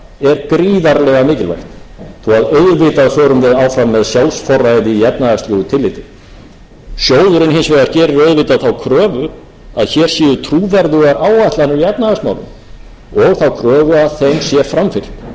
auðvitað förum við áfram með sjálfsforræði í efnahagslegu tilliti sjóðurinn hins vegar gerir auðvitað þá kröfu að hér séu trúverðugar áætlanir í efnahagsmálum og þá kröfu um að þeim sé framfylgt því miður